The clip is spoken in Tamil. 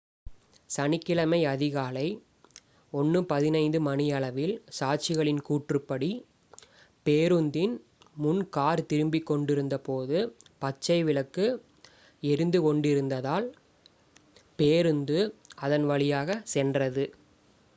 சனிக்கிழமை அதிகாலை 1:15 மணியளவில் சாட்சிகளின் கூற்றுப்படி பேருந்தின் முன் கார் திரும்பிக் கொண்டிருந்தபோது பச்சை விளக்கு எரிந்து கொண்டிருந்ததால் பேருந்து அதன் வழியாக சென்றது